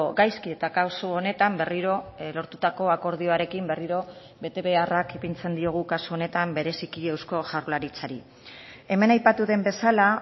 gaizki eta kasu honetan berriro lortutako akordioarekin berriro betebeharrak ipintzen diogu kasu honetan bereziki eusko jaurlaritzari hemen aipatu den bezala